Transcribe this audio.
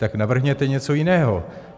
Tak navrhněte něco jiného.